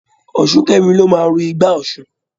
Ọ̀ṣúnkẹ́mi ló máa ru igbá Ọ̀ṣun.